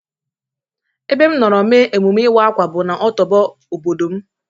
E be m nọrọ mee emume iwa-akwa bu na otọbọ obodo m.